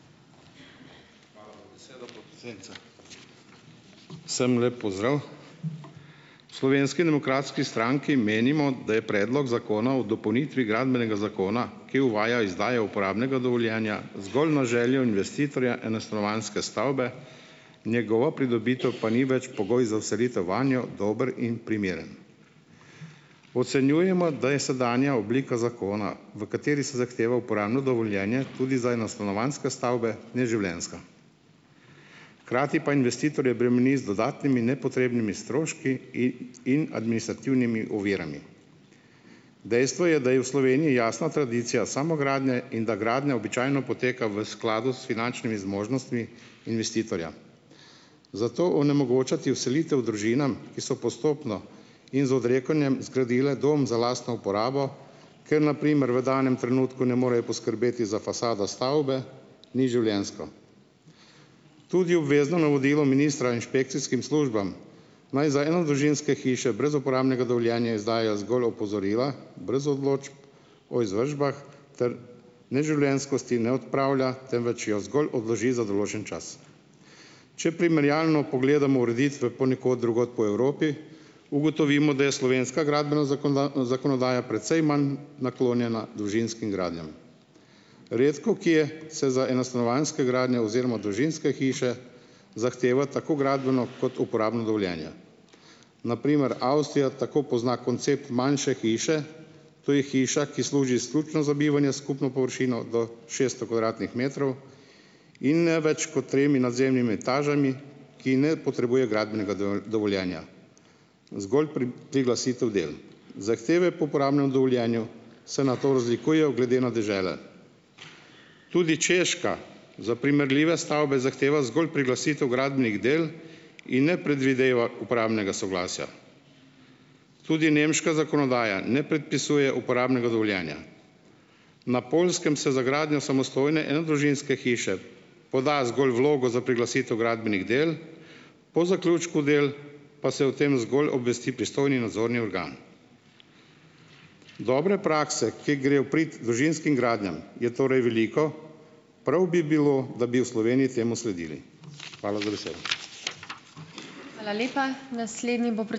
Hvala za besedo, podpredsednica. Vsem lep pozdrav. V Slovenski demokratski stranki menimo, da je Predlog zakona o dopolnitvi Gradbenega zakona, ki uvaja izdajo uporabnega dovoljenja zgolj na željo investitorja enostanovanjske stavbe, njegova pridobitev pa ni več pogoj za vselitev vanjo, dober in primeren. Ocenjujemo, da je sedanja oblika zakona, v kateri se zahteva uporabno dovoljenje tudi za enostanovanjske stavbe, neživljenjska. Hkrati pa investitorje bremeni z dodatnimi nepotrebnimi stroški in administrativnimi ovirami. Dejstvo je, da je v Sloveniji jasna tradicija samogradnje in da gradnja običajno poteka v skladu s finančnimi zmožnostmi investitorja. Zato onemogočati vselitev družinam, ki so postopno in z odrekanjem zgradile dom za lastno uporabo, ker na primer v danem trenutku ne morejo poskrbeti za fasado stavbe, ni življenjsko. Tudi obvezno navodilo ministra inšpekcijskim službam, naj za enodružinske hiše brez uporabnega dovoljenja izdajajo zgolj opozorila brez odločb o izvršbah, ter neživljenjskosti ne odpravlja, temveč jo zgolj odloži za določen čas. Če primerjalno pogledamo ureditve ponekod drugod po Evropi, ugotovimo, da je slovenska gradbena zakonodaja precej manj naklonjena družinskim gradnjam. Redkokje se za enostanovanjske gradnje oziroma družinske hiše zahteva tako gradbeno kot uporabno dovoljenje. Na primer Avstrija tako pozna koncept manjše hiše, to je hiša, ki služi izključno za bivanje s skupno površino do šesto kvadratnih metrov in ne več ko tremi nadzemnimi etažami, ki ne potrebuje gradbenega dovoljenja, zgolj priglasitev del. Zahteve po uporabnem dovoljenju se nato razlikujejo glede na dežele. Tudi Češka za primerljive stavbe zahteva zgolj priglasitev gradbenih del in ne predvideva uporabnega soglasja. Tudi nemška zakonodaja ne predpisuje uporabnega dovoljenja. Na Poljskem se za gradnjo samostojne enodružinske hiše poda zgolj vlogo za priglasitev gradbenih del, po zaključku del pa se o tem zgolj obvesti pristojni nadzorni organ. Dobre prakse, ki grejo v prid družinskim gradnjam, je torej veliko. Prav bi bilo, da bi v Sloveniji temu sledili. Hvala za besedo.